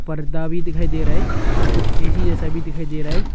पर्दा भी दिखाई दे रहा है और कुछ ए_सी जैसा भी दिखाई दे रहा है।